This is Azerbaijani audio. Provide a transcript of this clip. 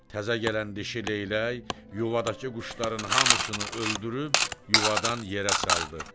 Təzə gələn dişi Leylək yuvadakı quşların hamısını öldürüb yuvadan yerə saldı.